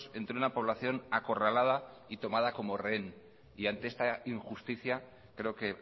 entre una población acorralada y tomada como rehén y ante esta injusticia creo que